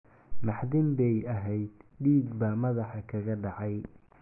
Naxdin bay ahayd, dhiig baa madaxa kaga dhacay.